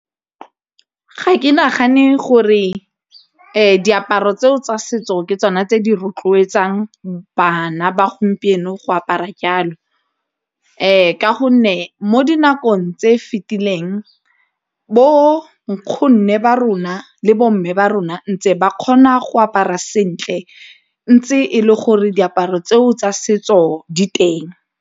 Ga ke nagane gore diaparo tseo tsa setso ke tsona tse di rotloetsang bana ba gompieno go apara jalo, ka gonne mo nakong tse fetileng bo nkgonne ba rona le bo mme ba rona ntse ba kgona go apara sentle ntse e le gore diaparo tseo tsa setso di teng.